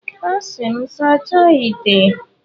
A sị m, sachaa ite!